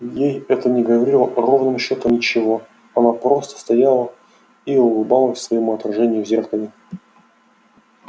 ей это не говорило ровным счётом ничего она просто стояла и улыбалась своему отражению в зеркале